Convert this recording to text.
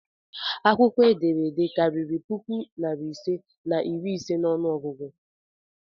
Akwukwo ederede kariri puku nari ise na iri ise n'onu ogugu?